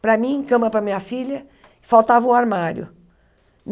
para mim, cama para minha filha, faltava o armário.